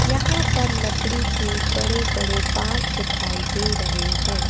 यहां पर लकड़ी के बड़े बड़े बांस दिखाई दे रहे हैं।